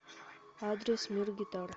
адрес мир гитар